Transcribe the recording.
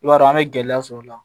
I b'a dɔn an be gɛlɛya sɔrɔ o la